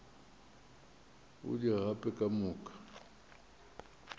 o di gape ka moka